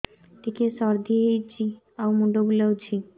ଟିକିଏ ସର୍ଦ୍ଦି ହେଇଚି ଆଉ ମୁଣ୍ଡ ବୁଲାଉଛି